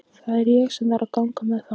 Það er ég sem þarf að ganga með það.